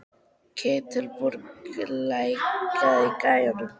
Ketilbjörg, lækkaðu í græjunum.